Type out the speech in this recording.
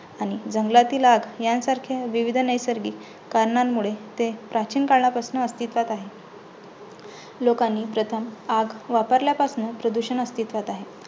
आणि जंगलातील आग ह्यांसारख्या विविध नैसर्गिक कारणांमुळे प्राचीन काळापासून ते अस्थित्वात आहे. लोकांनी प्रथम आग वापरल्यापासन प्रदूषण अस्तित्वात आहे.